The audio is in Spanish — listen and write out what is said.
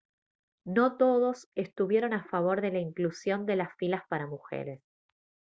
no todos estuvieron a favor de la inclusión de las filas para mujeres